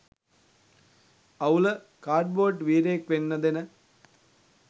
අවුල කාඩ්බෝඩ් වීරයෙක් වෙන්න දෙන